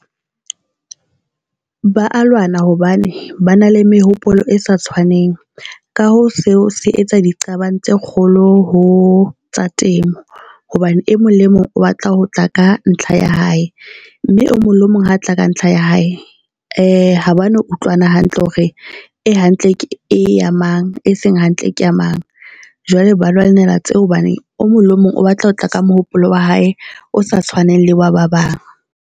Ba a lwana hobane ba na le mehopolo e sa tshwaneng ka hoo seo se etsa diqabang tse kgolo ho tsa temo, hobane e mong le e mong o batla ho tla ka ntlha ya hae. Mme o mong le mong ha tla ka ntlha ya hae ha ba no utlwana hantle hore e hantle ke ya mang, e seng hantle ke ya mang. Jwale ba lwanela tse o hobane o mong le mong o batla ho tla ka mohopolo wa hae o sa tshwaneng le wa ba bang.